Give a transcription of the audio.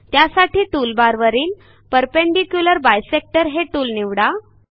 त्यासाठी टूलबारवरील perpendicular bisector हे टूल निवडा